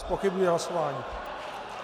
Zpochybňuji hlasování.